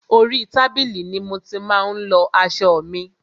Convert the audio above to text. Orí tábìlì ni mo ti má ń lọ aṣọ mi.